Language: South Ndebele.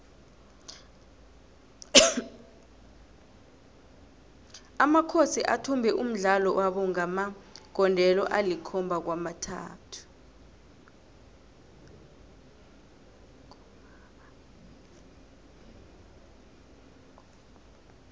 amakhosi athumbe umdlalo wabo ngamagondelo alikhomaba kwamathathu